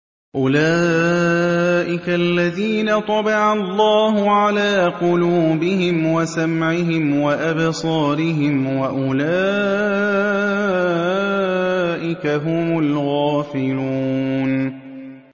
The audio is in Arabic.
أُولَٰئِكَ الَّذِينَ طَبَعَ اللَّهُ عَلَىٰ قُلُوبِهِمْ وَسَمْعِهِمْ وَأَبْصَارِهِمْ ۖ وَأُولَٰئِكَ هُمُ الْغَافِلُونَ